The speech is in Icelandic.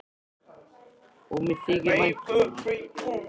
Og mér þykir vænt um það.